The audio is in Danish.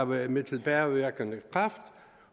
med med tilbagevirkende kraft